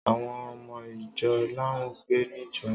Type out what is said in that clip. Àwon ọmọ ìjọ làún pẹ nìjọ́